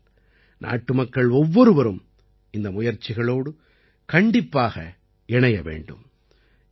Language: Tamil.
ஆகையால் நாட்டுமக்கள் ஒவ்வொருவரும் இந்த முயற்சிகளோடு கண்டிப்பாக இணைய வேண்டும்